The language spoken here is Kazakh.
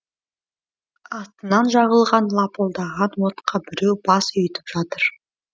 атынан жағылған лапылдаған отқа біреу бас үйітіп жатыр